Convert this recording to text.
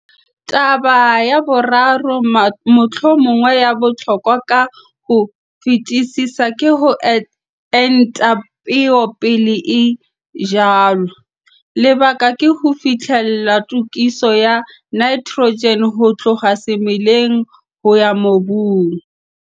Taba ya boraro, mohlomong ya bohlokwa ka ho fetisisa, ke ho enta peo pele e jalwa. Lebaka ke ho fihlella tokiso ya nitrogen ho tloha semeleng ho ya mobung.